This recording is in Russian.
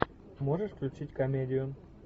можешь включить комедию